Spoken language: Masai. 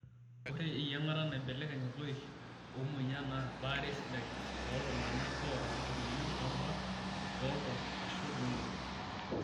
Ore eyiangata naibelekeny loik omoyiaa naa baare sidai tooltungana oota emoyian oorubat toonkung' aashu looudo.